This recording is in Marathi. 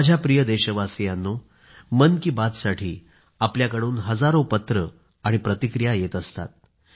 माझ्या प्रिय देशवासियांनो मन की बात साठी आपल्याकडून हजारों पत्र आणि प्रतिक्रिया येत असतात